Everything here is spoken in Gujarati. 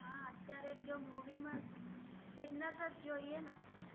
અત્ય઼આરે મુવિ મા ફ઼ઈટ્નેસ જ જોઇએ ને